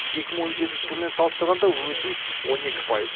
екі мың он жетінші жылмен салыстырғанда өсім он екі пайыз